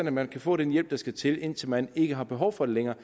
at man kan få den hjælp der skal til indtil man ikke har behov for den længere